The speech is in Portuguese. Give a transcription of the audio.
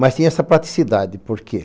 Mas tinha essa praticidade, por quê?